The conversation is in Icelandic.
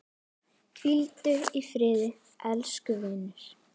Hvíldu í friði elsku vinur.